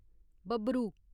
बब्बरू